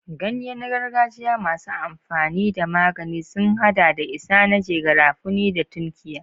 Ganye na gargajiya masu amfani da magani sun hada da isanaje, garafuni, da tunkiya.